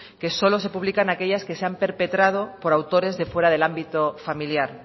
que solo se publican aquellas que se han perpetrado por autores de fuera del ámbito familiar